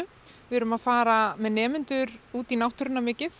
við erum að fara með nemendurna út í náttúruna mikið